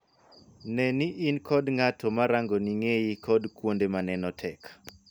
Nee ni in kod ng'at ma rangoni ng'eyi kod kuonde ma neno tek.